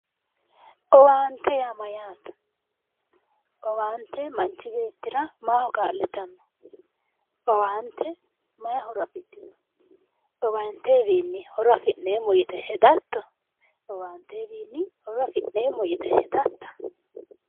Owaantete yaa Mayyaate? owaante manchi beettira kaa'litanno owaante mayi horo afidhino? owaantewiinni horo afi'neemo yite hedatto? owaantewiinni horo afi'neemo yite hedatta?